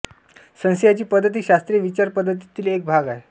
संशयाची पद्धत ही शास्त्रीय विचारपद्धतीतील एक भाग आहे